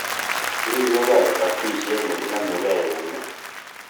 Keribengei kokatishet ne kenameken eunek